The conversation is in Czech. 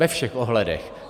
Ve všech ohledech.